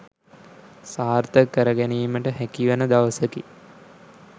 සාර්ථක කර ගැනීමට හැකිවන දවසකි